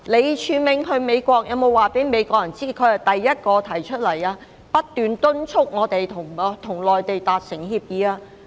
李柱銘前往美國時，有否告訴美國人，他是第一個提出兼不斷敦促香港要跟內地達成協議的人？